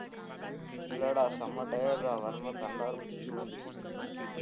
இல்லடா செம்ம tired ரா வரும்போது கண்ணுலவேற பூச்சி விழுந்துருச்சு